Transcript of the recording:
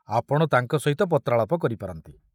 ଆପଣ ତାଙ୍କ ସହିତ ପତ୍ରାଳାପ କରିପାରନ୍ତି।